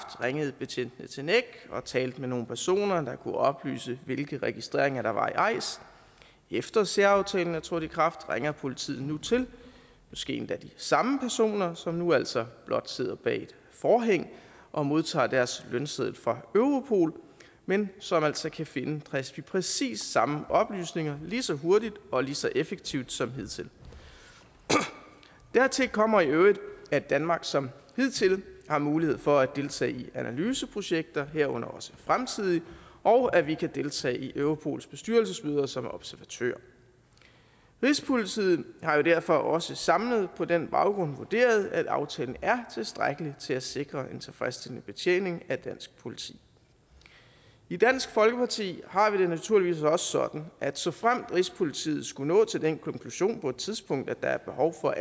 ringede betjentene til nec og talte med nogle personer der kunne oplyse hvilke registreringer der var i eis efter at særaftalen er trådt i kraft ringer politiet nu til måske endda de samme personer som nu altså blot sidder bag et forhæng og modtager deres lønseddel fra europol men som altså kan finde præcis præcis samme oplysninger lige så hurtigt og lige så effektivt som hidtil dertil kommer i øvrigt at danmark som hidtil har mulighed for at deltage i analyseprojekter herunder også fremtidige og at vi kan deltage i europols bestyrelsesmøder som observatør rigspolitiet har jo derfor også samlet på den baggrund vurderet at aftalen er tilstrækkelig til at sikre en tilfredsstillende betjening af dansk politi i dansk folkeparti har vi det naturligvis også sådan at såfremt rigspolitiet skulle nå til den konklusion på et tidspunkt at der er behov for